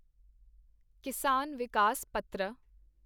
ਕਿਸਾਨ ਵਿਕਾਸ ਪੱਤਰ